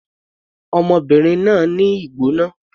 Ọmọbìnrin náà ní ìgbóná.